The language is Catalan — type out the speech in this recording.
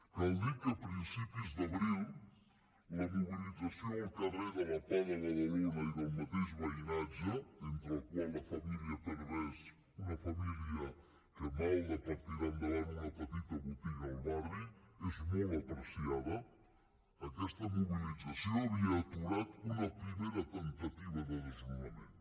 cal dir que a principis d’abril la mobilització al carrer de la pah de badalona i del mateix veïnatge dintre el qual la família parvez una família que malda per tirar endavant una petita botiga al barri és molt apreciada aquesta mobilització havia aturat una primera temptativa de desnonament